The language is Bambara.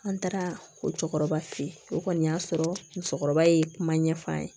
An taara o cɛkɔrɔba fe ye o kɔni y'a sɔrɔ musokɔrɔba ye kuma ɲɛfɔ an ye